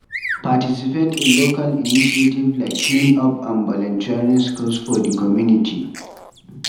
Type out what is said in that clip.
Participate in local initiative like clean-up and volunteering skills for di community